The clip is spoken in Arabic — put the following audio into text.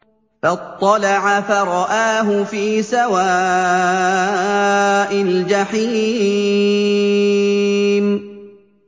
فَاطَّلَعَ فَرَآهُ فِي سَوَاءِ الْجَحِيمِ